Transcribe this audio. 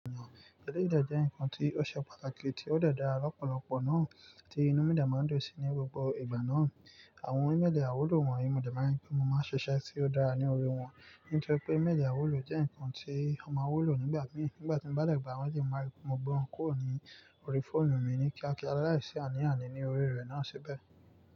Eléyìí dẹ̀ jẹ́ ǹkan tí ó ṣe pàtàkì, tí ó dẹ̀ dá lọ́pọ̀lọpọ̀ náà tí inú mí dẹ̀ máa ń dùn sí ní gbogbo ìgbà náà. Àwọn ímeèlì àìwúlò wọ̀nyí, mo dẹ̀ máa ń, mo máa ń ṣiṣẹ́ tí ó dáa ní orí wọn. Nítorí pé maili àìwúlò jẹ́ nǹkan tí ọ má wù lò nígbà mí. Nígbà tí mo bá dẹ̀ gbà wọ́n ni mọ gbé wọn kurk ní orí fóònù mi ní kíákíá lálàísí àní àní ní orí rẹ̀ náà síbẹ̀.